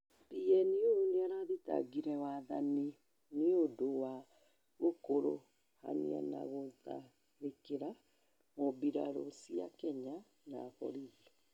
PNU nĩirathĩtangire wathani nĩũndũ wa gũkũrũhanio na gũtharĩkĩra mmbirarũ cĩa Kenya na borithi